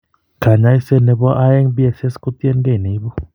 Kaany'ayseet ne po aeng' BSS ko tiyekeey neibu.